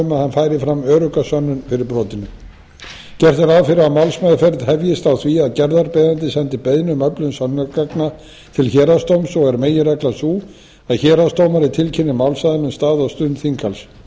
færi fram örugga sönnun fyrir brotinu gert er ráð fyrir að málsmeðferð hefjist á því að gerðarbeiðandi sendi beiðni um öflun sönnunargagna til héraðsdóms og er meginreglan sú að héraðsdómari tilkynni málsaðilum stað og stund þinghalds lagt